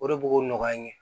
O de bɛ k'o nɔgɔya an ye